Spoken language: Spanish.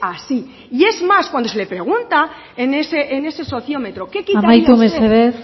así y es más cuando se le pregunta en ese sociómetro qué quitaría usted amaitu mesedez